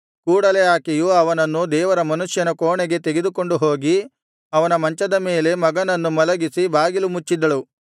ಕೂಡಲೆ ಆಕೆಯು ಅವನನ್ನು ದೇವರ ಮನುಷ್ಯನ ಕೋಣೆಗೆ ತೆಗೆದುಕೊಂಡು ಹೋಗಿ ಅವನ ಮಂಚದ ಮೇಲೆ ಮಗನನ್ನು ಮಲಗಿಸಿ ಬಾಗಿಲು ಮುಚ್ಚಿದಳು